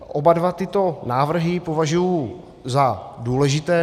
Oba dva tyto návrhy považuji za důležité.